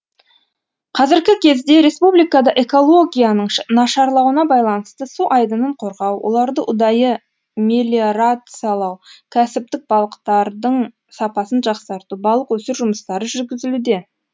қазіргі кезде республикада экологияның нашарлауына байланысты су айдынын қорғау оларды ұдайы мелиорациялау кәсіптік балықтардың сапасын жақсарту балық өсіру жұмыстары жүргізілуде